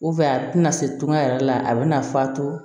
a tɛna se to a yɛrɛ la a bɛna fa to